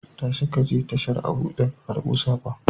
Tashi ka je tashar Abuja ka karbo saƙon.